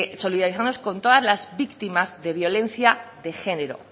solidarizarnos con todas las víctimas de violencia de género